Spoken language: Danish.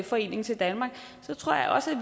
forening til danmark tror jeg også